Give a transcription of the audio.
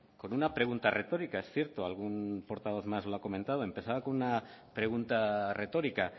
con una pregunta retórica es cierto algún portavoz más la ha comentado empezaba con una pregunta retórica